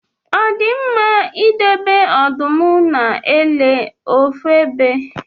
Ọdi mma idobe ọdụm na ele ofu ebe?